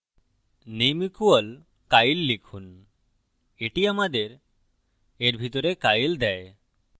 name = kyle লিখুন এটি আমাদের এর ভিতরে kyle দেয়